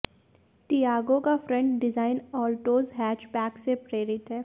Tiago का front design Altroz hatchback से प्रेरित है